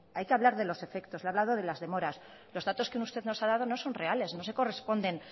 hay que hablar de los efectos le he hablado de las demoras los datos que usted nos ha dado no son reales no se corresponden